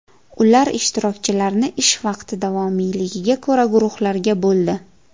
Ular ishtirokchilarni ish vaqti davomiyligiga ko‘ra guruhlarga bo‘ldi.